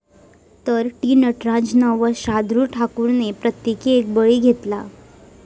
तर, टी. नटराजन व शार्दुल ठाकूरने प्रत्येकी एक बळी घेतला.